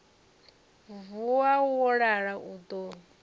vuwa wo lala u ḓo